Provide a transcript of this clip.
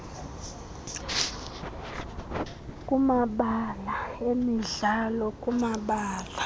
kumabala emidlalo kumabala